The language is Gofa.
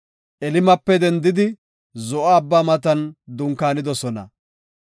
Elimape dendidi Zo7o Abbaa matan dunkaanidosona.